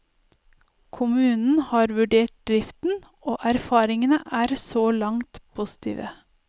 Kommunen har vurdert driften, og erfaringene så langt er positive.